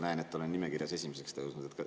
Näen, et olen nimekirjas esimeseks tõusnud.